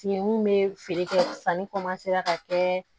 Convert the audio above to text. Fin mun be feere kɛ sanni ka kɛ